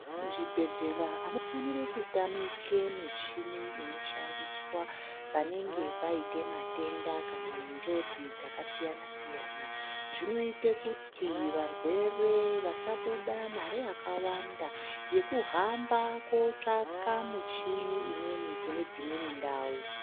Muzvibhedhlera hamufaniri kutamike michini inoshandiswa. Vanenge vaite matenda kana nenjodzi dzakasiyana siyana zvinoite kuti varwere vasabuda mare yakawanda yekuhamba kotsvaka muchini imweni kune dzimweni ndau.